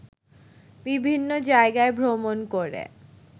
বিভিন্ন জায়গায় ভ্রমণ করে